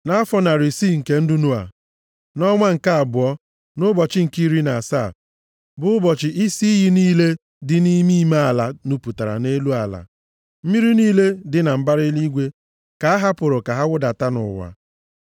Nʼafọ narị isii nke ndụ Noa, nʼọnwa nke abụọ, nʼụbọchị nke iri na asaa, bụ ụbọchị isi iyi niile dị nʼime ime ala nupụtara nʼelu ala, mmiri niile dị na mbara eluigwe ka a hapụrụ ka ha wụdata nʼụwa.